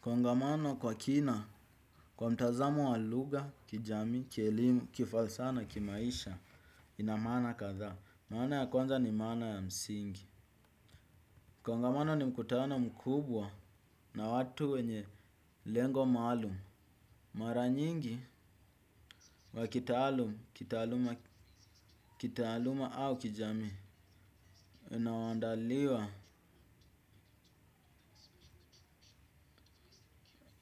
Kongamano kwa kina kwa mtazamo wa lugha kijamii kielimu kifalsa na kimaisha, ina maana kadhaa. Maana ya kwanza ni maana ya msingi. Kongamano ni mkutano mkubwa na watu wenye lengo maalum. Mara nyingi wa kitaaluma au kijamii unao andaliwa